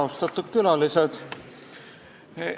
Austatud külalised!